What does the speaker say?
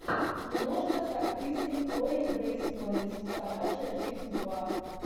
киношка с актрисой хлоей грейс морец собачья жизнь два